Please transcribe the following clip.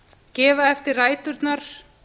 gefa eftir ræturnar